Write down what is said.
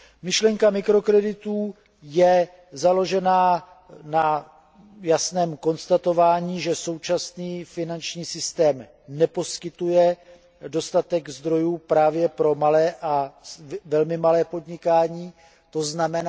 Myšlenka mikrokreditů je založena na jasném konstatování, že současný finanční systém neposkytuje dostatek zdrojů právě pro malé a velmi malé podnikání, tzn.